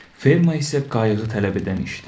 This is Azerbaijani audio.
Ferma isə qayğı tələb edən işdir.